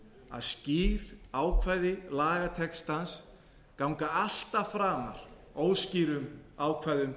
að skýr ákvæði lagatextans ganga alltaf framar óskýrum ákvæðum